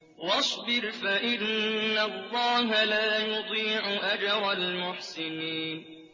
وَاصْبِرْ فَإِنَّ اللَّهَ لَا يُضِيعُ أَجْرَ الْمُحْسِنِينَ